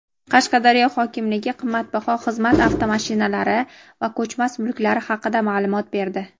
Qashqadaryo hokimligi qimmatbaho xizmat avtomashinalari va ko‘chmas mulklari haqida ma’lumot berdi.